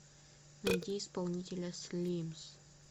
найди исполнителя слимз